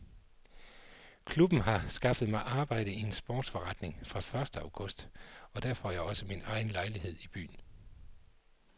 Klubben har skaffet mig arbejde i en sportsforretning fra første august og der får jeg også min egen lejlighed i byen.